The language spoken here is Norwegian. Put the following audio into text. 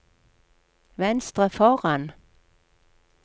venstre foran